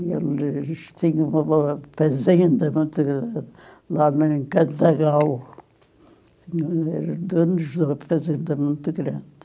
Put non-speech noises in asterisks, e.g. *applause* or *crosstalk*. *unintelligible* eles tinham uma fazenda muito grande lá em, *unintelligible* eram donos de uma fazenda muito grande.